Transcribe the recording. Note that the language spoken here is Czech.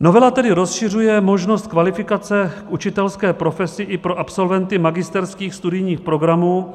Novela tedy rozšiřuje možnost kvalifikace k učitelské profesi i pro absolventy magisterských studijních programů,